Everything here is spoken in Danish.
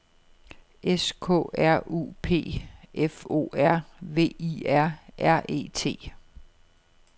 S K R U P F O R V I R R E T